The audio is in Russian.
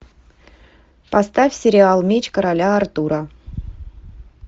поставь сериал меч короля артура